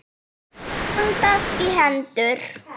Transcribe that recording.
Þau haldast í hendur.